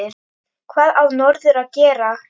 Hvað á norður að gera?